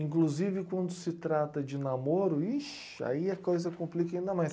Inclusive, quando se trata de namoro, ixe aí a coisa complica ainda mais.